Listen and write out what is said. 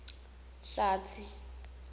hlatsi